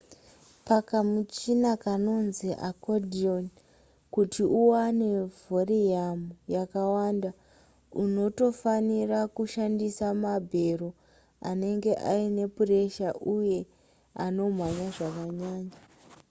pakamuchina kanonzi accordion kuti uwane vhoriyamu yakawanda unotofanira kushandisa mabhero anenge aine puresha uye anomhanya zvakanyanya